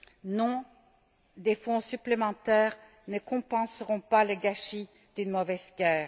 Non, des fonds supplémentaires ne compenseront pas le gâchis d'une mauvaise guerre.